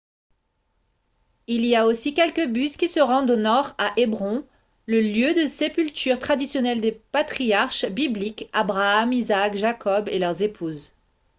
il y a aussi quelques bus qui se rendent au nord à hébron le lieu de sépulture traditionnel des patriarches bibliques abraham isaac jacob et leurs épouses